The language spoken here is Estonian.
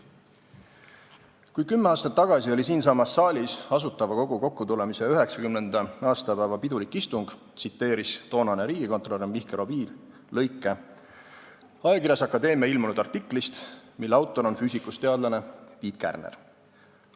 Kui kümme aastat tagasi oli siinsamas saalis Asutava Kogu kokkutulemise 90. aastapäeva pidulik istung, tsiteeris toonane riigikontrolör Mihkel Oviir lõike ajakirjas Akadeemia ilmunud artiklist, mille autor on füüsikust teadlane Tiit Kärner.